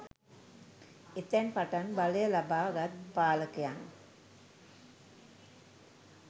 එතැන් පටන් බලය ලබා ගත් පාලකයන්